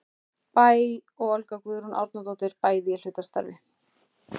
Bæ og Olga Guðrún Árnadóttir, bæði í hlutastarfi.